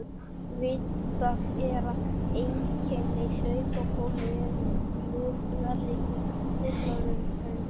Vitað er að einkenni hlaupabólu eru mun verri hjá fullorðnum en börnum.